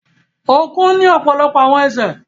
Ọ̀kùn ni ọpọlọpọ àwọn ẹsẹ